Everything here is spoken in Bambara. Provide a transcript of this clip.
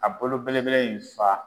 A bolo belebele in fa.